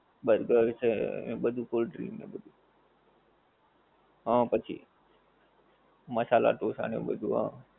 Burger એ છે. અને બધુ cold drink ને બધુ. હં પછી મસાલા ડોસા ને એ બધુ હં.